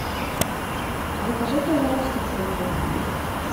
закажи пожалуйста фрукты